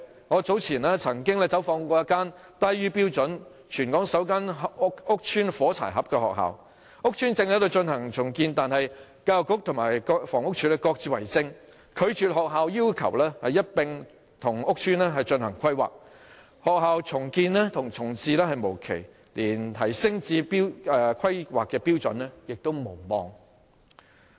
我早前走訪過一間低於標準、全港首間屋邨"火柴盒"學校，屋邨正在進行重建，但教育局和房屋署各自為政，拒絕學校要求一併與屋邨進行規劃，學校重建重置無期，連提升至規劃標準也無望。